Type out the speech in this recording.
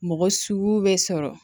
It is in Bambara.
Mɔgɔ sugu bɛ sɔrɔ